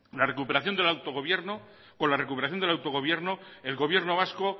con la recuperación del autogobierno el gobierno vasco